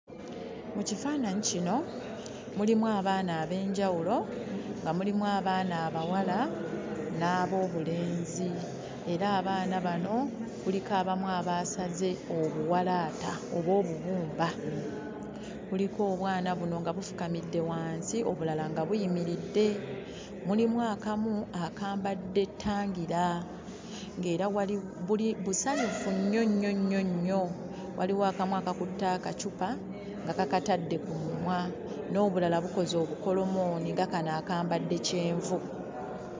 Mu kifaananyi kino mulimu abaana ab'enjawulo, nga mulimu abaana abawala n'ab'obulenzi. Era abaana bano kuliko abamu abaasaze obuwalaata oba obubumba, kuliko obwana buno nga bufukamidde wansi, obulala nga buyimiridde. Mulimu akamu akambadde ttangira, ng'era wali busanyufu nnyo nnyo nnyo, waliwo akamu akakutte akacupa nga kakatadde ku mumwa, n'obulala bukoze obukolomooni nga kano akambadde kyenvu.